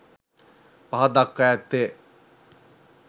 පහත දක්වා ඇත්තේ